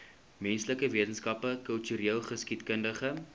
menslike wetenskappe kultureelgeskiedkundige